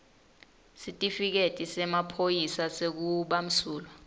sitifiketi semaphoyisa sekubamsulwa